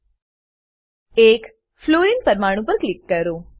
એક fluorine fluorine પરમાણુ પર ક્લિક કરો